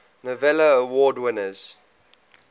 novello award winners